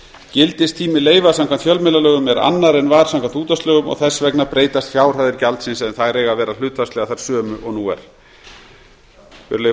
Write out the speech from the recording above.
gildistími leyfa samkvæmt fjölmiðlalögum er annar en var samkvæmt útvarpslögum og þess vegna breytast fjárhæðir gjaldsins en þær eiga að vera hlutfallslega þær sömu og nú er virðulegi forseti